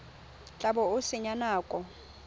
tla bo o senya nako